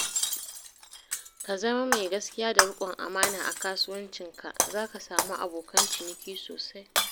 Ka zama mai gaskiya da riƙon amana a kasuwancinka za ka samu abokan ciniki sosai